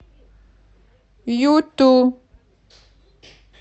юту